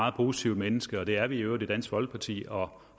meget positivt menneske og det er vi i øvrigt i dansk folkeparti og